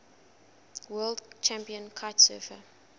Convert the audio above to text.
world champion kitesurfer